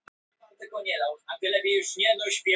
Hún vissi ekki hvernig hún átti að vera þegar hún tók við þessu.